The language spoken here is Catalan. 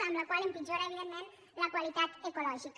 amb la qual cosa empitjora evidentment la qualitat ecològica